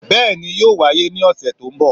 bẹẹni, yoo waye ni ọsẹ to nbo.